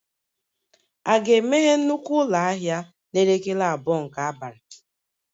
A ga-emeghe nnukwu ụlọ ahịa n'elekere abụọ nke abalị?